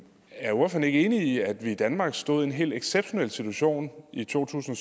er ordføreren ikke enig i at vi i danmark stod i en helt exceptionel situation i to tusind